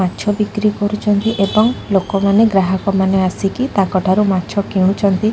ମାଛ ବିକ୍ରି କରୁଚନ୍ତି ଏବଂ ଲୋକମାନେ ଗ୍ରାହକମାନେ ଆସିକି ତାଙ୍କ ଠାରୁ ମାଛ କିଣୁଛନ୍ତି।